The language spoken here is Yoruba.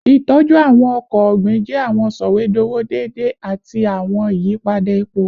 Itọju awọn ọkọ ogbin jẹ awọn sọwedowo deede ati awọn iyipada epo